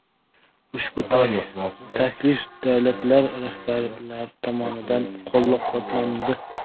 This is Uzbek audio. Ushbu taklif davlatlar rahbarlari tomonidan qo‘llab-quvvatlandi.